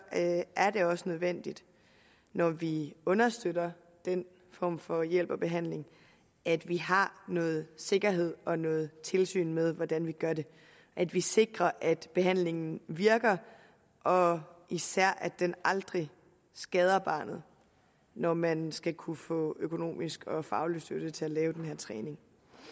det også nødvendigt når vi understøtter den form for hjælp og behandling at vi har noget sikkerhed og noget tilsyn med hvordan vi gør det at vi sikrer at behandlingen virker og især at den aldrig skader barnet når man skal kunne få økonomisk og faglig støtte til at lave den her træning